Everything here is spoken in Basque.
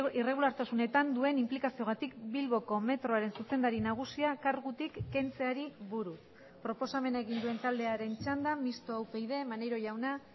irregulartasunetan duen inplikazioagatik bilboko metroaren zuzendari nagusia kargutik kentzeari buruz proposamena egin duen taldearen txanda mistoa upyd maneiro jauna